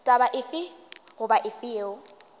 taba efe goba efe yeo